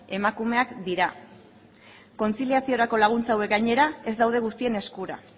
emakumeak dira kontziliaziorako laguntza hauek gainera ez daude guztien eskura